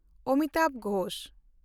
Amitabh Ghosh